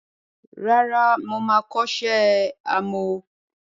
Rárá, moma kọ́ṣẹ́ àmọ́.